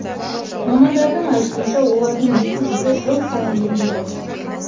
мамандардың айтуынша олардың екі жүзі жыл сайын емделеді